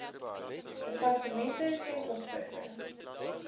departemente ten opsigte